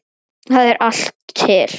Þar er allt til.